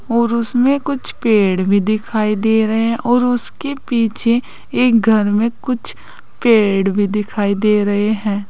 और उसमें कुछ पेड़ भी दिखाई दे रहे हैं और उसके पीछे एक घर में कुछ पेड़ भी दिखाई दे रहे हैं।